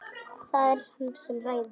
Það er hann sem ræður.